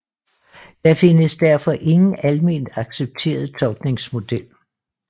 Der findes derfor ingen alment accepteret tolkningsmodel